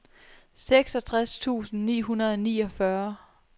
seksogtres tusind ni hundrede og niogfyrre